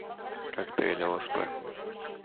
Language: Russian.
коктейль лсп